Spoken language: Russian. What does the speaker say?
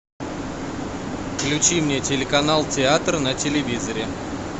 включи мне телеканал театр на телевизоре